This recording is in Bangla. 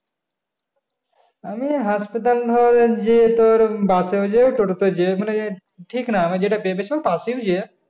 আমি hospital হলে যে তোর bus এও যে টোটো তে ও যে মানে ঠিক না আমি যেটা পেয়ে যাই busএও যে